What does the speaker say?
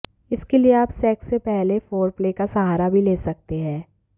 इसके लिए आप सेक्स से पहले फोरप्ले का सहारा भी ले सकते है